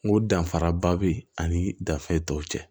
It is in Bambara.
N ko danfaraba bɛ ani dafe tɔw cɛ